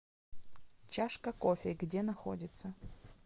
чашка кофе где находится